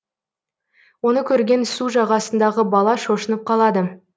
оны көрген су жағасындағы бала шошынып қалады